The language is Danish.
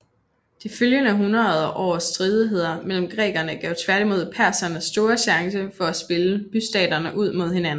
De følgende hundrede års stridigheder mellem grækerne gav tværtimod perserne store chancer for at spille bystaterne ud mod hinanden